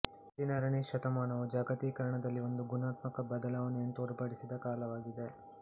ಹದಿನಾರನೇ ಶತಮಾನವು ಜಾಗತೀಕರಣದಲ್ಲಿ ಒಂದು ಗುಣಾತ್ಮಕ ಬದಲಾವಣೆಯನ್ನು ತೋರ್ಪಡಿಸಿದ ಕಾಲವಾಗಿದೆ